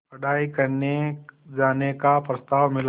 पढ़ाई करने जाने का प्रस्ताव मिला